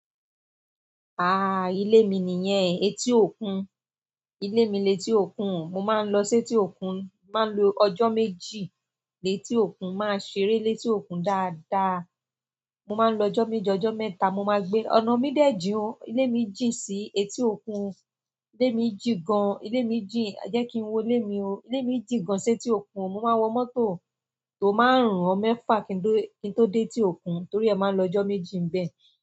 Ah, ilé mi nìyẹn, etí òkun. Ilé mi lé tí òkun, mo máa ń lọ sí etí òkun, máa ń lo ọjọ́ méjì lé tí òkun, máa ṣeré lé tí òkun dáadáa. Mo máa ń lọ ọjọ́ méjì ọjọ́ mẹ́ta, mo máa gbé ọ̀nà mí dẹ̀ jin o, ilé mi jìn si etí òkun. Ilé mi jìn gan, ilé mi jìn, jẹ́ kí n wo ilé mi o. Ilé mi jìn gan sí etí òkun, mo máa wọ mọ́tò, tò máa run ọ mẹ́fà kí n tó dé etí òkun, torí ẹ máa ń lọ ọjọ́ méjì ń bẹ.